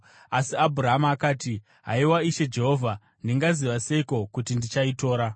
Asi Abhurama akati, “Haiwa Ishe Jehovha, ndingaziva seiko kuti ndichaitora?”